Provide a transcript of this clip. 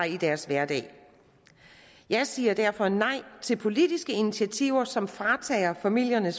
i deres hverdag jeg siger derfor nej til politiske initiativer som fratager familierne